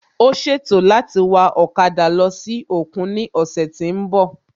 Ó ṣètò láti wa ọ̀kada lọ sí òkun ní òsè tí n bò